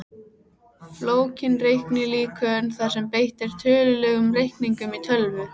Flókin reiknilíkön þar sem beitt er tölulegum reikningum í tölvu.